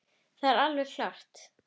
Það er alveg klárt.